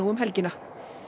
um helgina